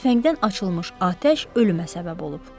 Tüfəngdən açılmış atəş ölümə səbəb olub.